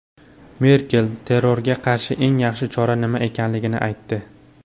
Merkel terrorga qarshi eng yaxshi chora nima ekanligini aytdi.